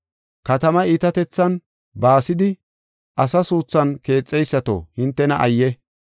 Katamaa iitatethan baasidi asa suuthan keexeysato hintena ayye!